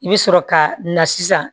I bɛ sɔrɔ ka na sisan